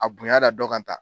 A bonya da dɔ kan ta